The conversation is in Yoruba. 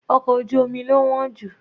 Ọkọ̀ ojú omi lo wọ́n jù.